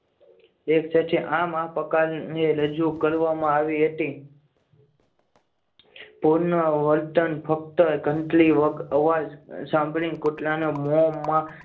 એક સાથે આમ આ પ્રકારની રજૂ કરવામાં આવી હતી. પૂર્ણ વર્ણન ફક્ત ઘંટડી અવાજ સાંભળી કુતરાના મોમાં